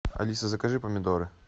алиса закажи помидоры